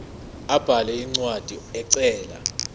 abhale incwadi ecela